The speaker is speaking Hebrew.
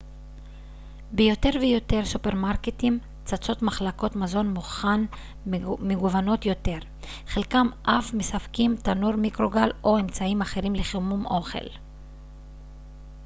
ביותר ויותר סופרמרקטים צצות מחלקות מזון מוכן מגוונות יותר חלקם אף מספקים תנור מיקרוגל או אמצעים אחרים לחימום אוכל